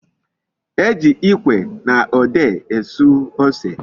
E ji ikwe na ode esu ose